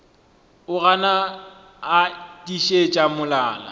o gana a tiišitše molala